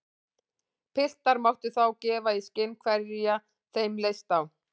Piltar máttu þá gefa í skyn hverja þeim leist á.